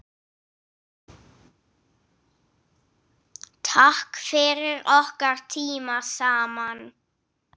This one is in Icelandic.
Takk fyrir okkar tíma saman.